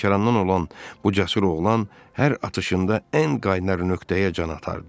Lənkərandan olan bu cəsur oğlan hər atışında ən qaynar nöqtəyə can atırdı.